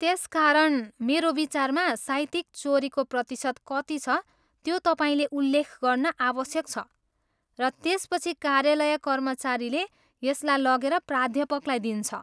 त्यसकारण, मेरो विचारमा साहित्यिक चोरीको प्रतिशत कति छ त्यो तपाईँले उल्लेख गर्न आवश्यक छ, र त्यसपछि कार्यालय कर्मचारीले यसलाई लगेर प्राध्यापकलाई दिन्छ।